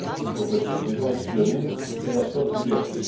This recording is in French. Pauvreté est donc synonyme de privation de liberté.